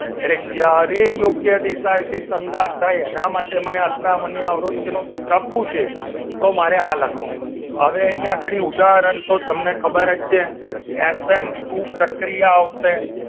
એટલે જ્યારે યોગ્ય દિશાએથી સંગાથ થાય એના માટે અથડામણ ની અવરોધ નો સૂત્ર પૂછે તો મારે આ લખવાનું હવે અહીં આગળી ઉદાહરણ તો તમને ખબર જ છે એસેન્ટ ટુ પ્રક્રિયા આવશે